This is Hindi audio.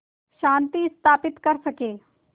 शांति स्थापित कर सकें